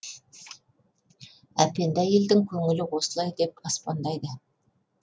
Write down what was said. әпенді әйелдің көңілі осылай деп аспандайды